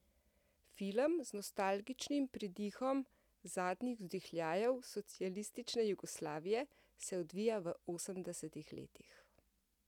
Film z nostalgičnim pridihom zadnjih vzdihljajev socialistične Jugoslavije se odvija v osemdesetih letih.